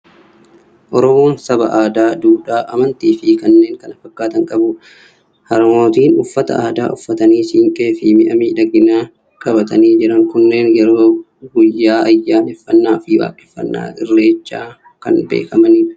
Oromoon saba aadaa, duudhaa, amantii fi kanneen kana fakkaatan qabudha. Harmootiin uffata aadaa uffatanii, siinqee fi mi'a miidhaginaa qabatanii jiran kunneen yerooo baay'ee guyyaa ayyaaneffannaa fi waaqeffannaa irreechaa kan beekamanidha.